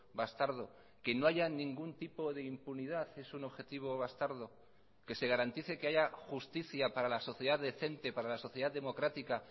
bastardo que no haya ningún tipo de impunidad es un objetivo bastardo que se garantice que haya justicia para la sociedad decente para la sociedad democrática